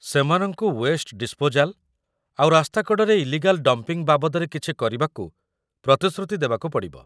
ସେମାନଙ୍କୁ waste disposal ଆଉ ରାସ୍ତା କଡ଼ରେ ଇଲିଗାଲ୍ ଡମ୍ପିଂ ବାବଦରେ କିଛି କରିବାକୁ ପ୍ରତିଶ୍ରୁତି ଦେବାକୁ ପଡ଼ିବ ।